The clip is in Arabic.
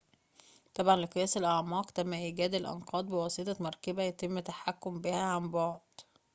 تبعاً لقياس الأعماق تم إيجاد الأنقاض بواسطة مركبة يتم التحكم بها عن بعد